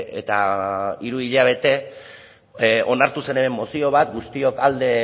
eta hiru hilabete onartu zen hemen mozio bat guztiok alde